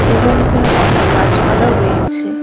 এবং এখানে অনেক গাছপালাও রয়েছে।